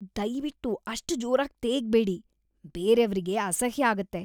ದಯ್ವಿಟ್ಟು ಅಷ್ಟ್ ಜೋರಾಗ್ ತೇಗ್ಬೇಡಿ, ಬೇರೇವ್ರಿಗೆ ಅಸಹ್ಯ ಆಗತ್ತೆ.